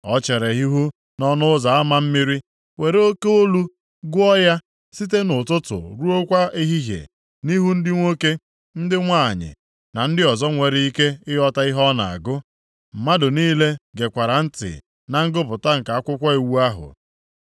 O chere ihu nʼỌnụ Ụzọ Ama Mmiri were oke olu gụọ ya site nʼụtụtụ ruokwa ehihie nʼihu ndị nwoke, ndị nwanyị na ndị ọzọ nwere ike ịghọta ihe o na-agụ. Mmadụ niile gekwara ntị na ngụpụta nke akwụkwọ iwu ahụ.